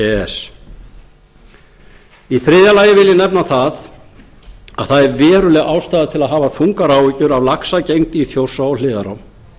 s í þriðja lagi vil ég nefna að það er veruleg ástæða til að hafa þungar áhyggjur af laxagengd í þjórsá og hliðarám